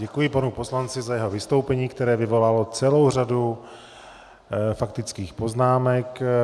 Děkuji panu poslanci za jeho vystoupení, které vyvolalo celou řadu faktických poznámek.